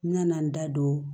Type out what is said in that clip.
N nana n da don